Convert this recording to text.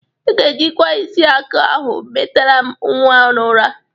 Ị ga-ejikwa ishaka ahụ metere m nwa n'ụra.